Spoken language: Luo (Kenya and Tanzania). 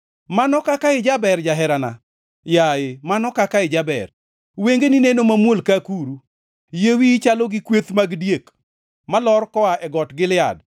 Mano kaka ijaber, jaherana! Yaye, mano kaka ijaber! Wengeni neno mamuol ka akuru. Yie wiyi chalo gi kweth mag diek, malor koa e Got Gilead.